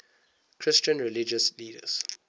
christian religious leaders